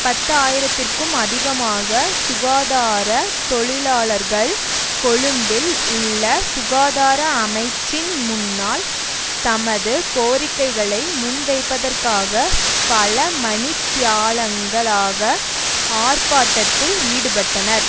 பத்து ஆயிரத்திற்கும் அதிகமாக சுகாதார தொழிலாளர்கள் கொழும்பில் உள்ள சுகாதார அமைச்சின் முன்னால் தமது கோரிக்கைகளை முன்வைப்பதற்காக பல மணித்தியாலங்களாக ஆர்ப்பாட்டத்தில் ஈடுபட்டனர்